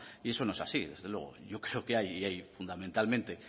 y eso no es así desde luego yo creo que fundamentalmente